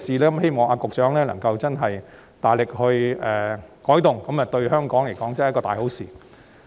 我希望局長能夠真正大力作出改動，這樣對香港確實是一件大好事。